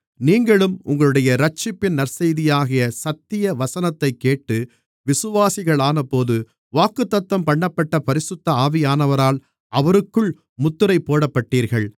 நீங்களும் உங்களுடைய இரட்சிப்பின் நற்செய்தியாகிய சத்திய வசனத்தைக்கேட்டு விசுவாசிகளானபோது வாக்குத்தத்தம்பண்ணப்பட்ட பரிசுத்த ஆவியானவரால் அவருக்குள் முத்திரைபோடப்பட்டீர்கள்